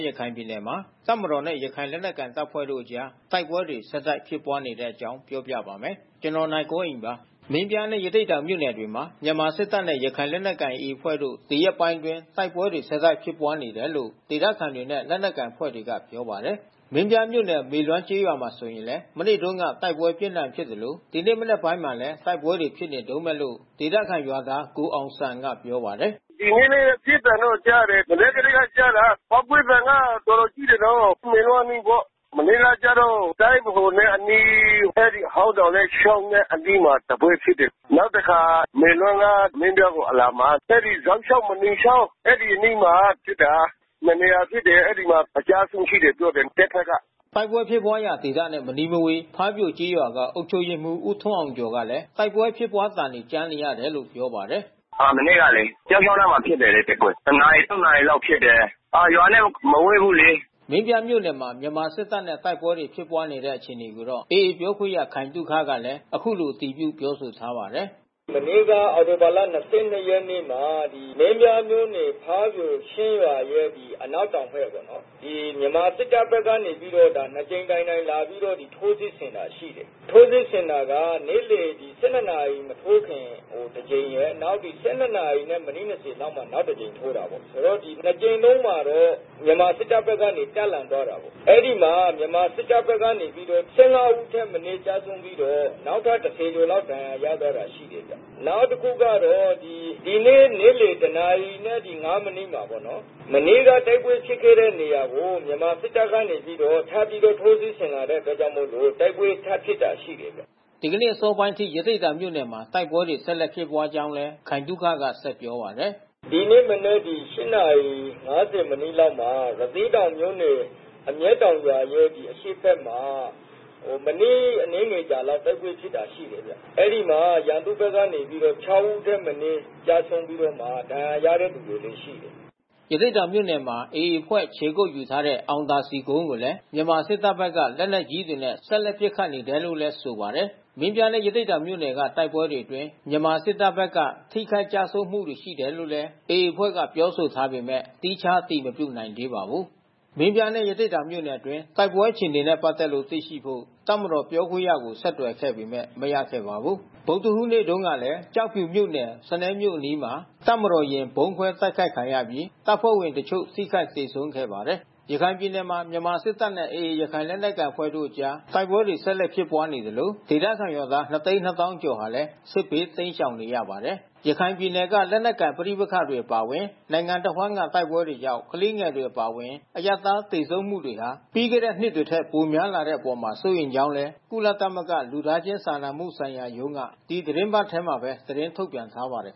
ရခိုင်ပြည်နယ်မှာ တပ်မတော်နဲ့ ရခိုင်လက်နက်ကိုင်တပ်ဖွဲ့တို့ကြား တိုက်ပွဲတွေ ဆက်တိုက် ဖြစ်ပွားနေတဲ့အကြောင်း ပြောပြပါမယ်။ ဗွီအိုအေမြန်မာပိုင်း သတင်းထောက် ကိုနိုင်ကွန်းအိန်က ရခိုင်ကနေ သတင်းပေးပို့ထားပါတယ်။ မင်းပြားနဲ့ ရသေ့တောင်မြို့နယ်တွေမှာ မြန်မာစစ်တပ်နဲ့ ရခိုင်လက်နက်ကိုင် AA အဖွဲ့တို့ ဒီရက်ပိုင်းအတွင်း တိုက်ပွဲတွေ ဆက်တိုက် ဖြစ်ပွားနေတယ်လို့ ဒေသခံတွေနဲ့ လက်နက်ကိုင်အဖွဲ့တွေက ပြောပါတယ်။ မင်းပြားမြို့နယ် မေလွမ်းကျေးရွာမှာဆိုရင်လည်း မနေ့တုန်းက အပြင်းအထန် တိုက်ပွဲဖြစ်ခဲ့သလို ဒီနေ့ မနက်ပိုင်းမှာလည်း တိုက်ပွဲတွေ ဖြစ်နေတုန်းပဲလို့ ဒေသခံရွာသားကိုအောင်ဇံကပြောပါတယ်။ “ဒီနေ့လည်း ပစ်သံတော့ကြားတယ်။ မနက်ကတည်းက ကြားတာ။ ပေါက်ကွဲသံက တော်တော်ကြီးတယ်နော်။ မေလွမ်းအနီးပေါ့။ မနေ့ကကျတော့ တိုင်းဗဟိုနဲ့ အနီး အဲဒီဟောင်းတောင်နဲ့ ချောင်းနက်အနီးမှာ တပွဲဖြစ်တယ်။ နောက်တခါ မေလွမ်းက မင်းပြားကိုအလာမှာ အဲဒီဇောက်ချောင်း မြေနီချောင်း အဲဒီအနီးမှာဖြစ်တာ။ နှစ်နေရာဖြစ်တယ်။ အဲဒီမှာအကျဆုံး ရှိတယ်ပြောတယ်။ တပ်ဘက်က။” တိုက်ပွဲဖြစ်ပွါးရာဒေသနဲ့မနီးမဝေး ဖားပြိုကျေးရွာက အုပ်ချုပ်ရေးမှူး ဦးထွန်းအောင်ကျော်ကလဲ တိုက်ပွဲဖြစ်ပွါးသံတွေ ကြားရတယ်လို့ ပြောပါတယ်။ “မနေ့ကလေ ဇောက်ချောင်းအနားမှာ ဖြစ်တယ်လေ တိုက်ပွဲ။ တနာရီ နှစ်နာရီလောက်ဖြစ်တယ်။ ရွာနဲ့ မဝေးဘူးလေ။” မင်းပြားမြို့နယ်မှာ မြန်မာစစ်တပ်နဲ့ တိုက်ပွဲတွေ ဖြစ်ပွားနေတဲ့ အခြေအနေကိုတော့ AA အဖွဲ့ ပြောခွင့်ရ ခိုင်သုခကလည်း အခုလို အတည်ပြု ပြောဆိုထားပါတယ်။ “မနေ့က အောက်တိုဘာလ ၂၂ ရက်နေ့မှာ မင်းပြားမြို့နယ် ဖားပြိုချင်းရွာရဲ့ အနောက်တောင်ဘက်ပေါ့နော်။ မြန်မာစစ်တပ်ဘက်ကနေ ပြီးတော့ နှစ်ကြိမ်တိုင်တိုင်လာပြီးတော့ ထိုးစစ်ဆင်တာရှိတယ်။ နှစ်ကြိမ်လုံးမှာတော့ မြန်မာစစ်တပ်ဘက်က တပ်လန်သွားတာပေါ့။ အဲဒီမှာမြန်မာစစ်တပ်ဘက်က ၁၅ ဦးထက်မနည်း ကျဆုံးပြီးတော့ နောက်ထပ် ၁၀ ကျော်လောက် ဒဏ်ရာရသွားတာ ရှိတယ်ဗျ။ ဒီနေ့နေ့လယ်တနာရီနဲ့ ၅ မိနစ်မှာပေါ့နော်။ မနေ့ကတိုက်ပွဲဖြစ်ခဲ့တဲ့နေရာကို မြန်မာစစ်တပ်ဘက်က ထပ်ပြီးတော့ ထိုးစစ်ဆင်လာတဲ့အတွက်ကြောင့်မို့လို့ တိုက်ပွဲထပ်ဖြစ်တာ ရှိတယ်ဗျ။” ဒီကနေ့ အစောပိုင်းအထိ ရသေ့တောင်မြို့နယ်မှာ တိုက်ပွဲတွေ ဆက်လက် ဖြစ်ပွားခဲ့ကြောင်းလည်း ခိုင်သုခက ပြောပါတယ်။ “ဒီနေ့မနက် ၈ နာရီ ၅၀ မိနစ်လောက်မှာ ရသေ့တောင်မြို့နယ် အမျက်တောင်ရွာရဲ့အရှေ့ဘက်မှာ မိနစ်အနည်းငယ်ကြာလောက်တိုက်ပွဲဖြစ်တာ ရှိတယ်ဗျ။ အဲဒီမှာ ရန်သူ့ဘက်ကနေပြီးတော့ ၆ ဦးထက်မနည်း ကျဆုံးပြီးတော့မှ ဒဏ်ရာရတဲ့သူလည်း ရှိတယ်။” ရသေ့တောင်မြို့နယ်မှာ AA အဖွဲ့ ခြေကုတ်ယူထားတဲ့ အောင်သာစည်ကုန်းကိုလည်း မြန်မာစစ်တပ်ဘက်က လက်နက်ကြီးတွေနဲ့ ဆက်လက် ပစ်ခတ်နေတယ်လို့လည်း ဆိုပါတယ်။ မင်းပြားနဲ့ ရသေ့တောင်မြို့နယ်တွေက တိုက်ပွဲတွေအတွင်း မြန်မာစစ်တပ်ဘက်က ထိခိုက်ကျဆုံးမှု ရှိတယ်လို့လည်း AA အဖွဲ့က ပြောဆိုထားပေမဲ့ သီးခြားအတည်မပြုနိုင်သေးပါဘူး။ မင်းပြားနဲ့ ရသေ့တောင်မြို့နယ်အတွင်း တိုက်ပွဲအခြေအနေနဲ့ ပတ်သက်လို့ သိရှိဖို့ တပ်မတော်ပြောခွင့်ရသူကို ဆက်သွယ်ခဲ့ပေမဲ့ မရခဲ့ပါဘူး။ ဗုဒ္ဓဟူးနေ့မှာတုန်းကလည်း ကျောက်ဖြူမြို့နယ် စနဲမြို့အနီးမှာ တပ်မတော်ယာဉ် ဗုံးခွဲတိုက်ခိုက်ခံခဲ့ရပြီး တပ်ဖွဲ့ဝင်တချို့ ထိခိုက်သေဆုံးခဲ့ပါတယ်။ ရခိုင်ပြည်နယ်မှာ မြန်မာစစ်တပ်နဲ့ AA ရခိုင်လက်နက်ကိုင်အဖွဲ့တို့ကြား တိုက်ပွဲတွေထန်ဆက်လက်ဖြစ်ပွါးနေသလို ဒေသခံရွာသား ၂၂၀,၀၀၀ ကျော်ဟာလည်း စစ်ဘေးတိမ်းရှောင်နေရပါတယ်။ ရခိုင်ပြည်နယ်က လက်နက်ကိုင် ပဋိပက္ခတွေ အပါအဝင် နိုင်ငံအဝန်းက တိုက်ပွဲတွေကြောင့် ကလေးငယ်တွေ အပါအဝင် အရပ်သား သေဆုံးမှုတွေဟာ ပြီးခဲ့တဲ့ နှစ်တွေထက် ပိုများလာနေတဲ့အပေါ် စိုးရိမ်ကြောင်းလည်း ကုလသမဂ္ဂ လူသားချင်း စာနာမှုဆိုင်ရာရုံးက ဒီသီတင်းပတ်ထဲမှာပဲ သတင်းထုတ်ပြန်ထားပါတယ်